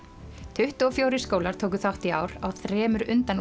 tuttugu og fjórir skólar tóku þátt í ár á þremur